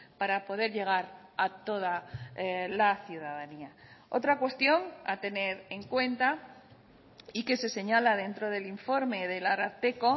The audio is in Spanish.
para poder llegar a toda la ciudadanía otra cuestión a tener en cuenta y que se señala dentro del informe del ararteko